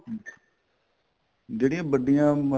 ਜਿਹੜੀਆਂ ਵੱਡੀਆਂ